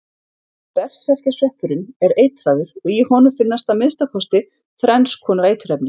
Berserkjasveppurinn er eitraður og í honum finnast að minnsta kosti þrenns konar eiturefni.